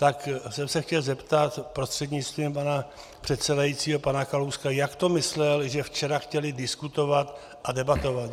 Tak jsem se chtěl zeptat prostřednictvím pana předsedajícího pana Kalouska, jak to myslel, že včera chtěli diskutovat a debatovat.